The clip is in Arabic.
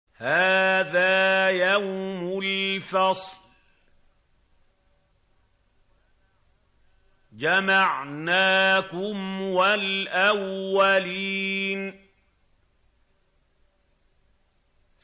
هَٰذَا يَوْمُ الْفَصْلِ ۖ جَمَعْنَاكُمْ وَالْأَوَّلِينَ